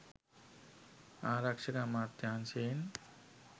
ආරක්ෂක අමාත්‍යංශයෙන්.